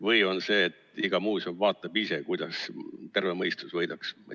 Või on nii, et iga muuseum vaatab ise, kuidas terve mõistus võidaks?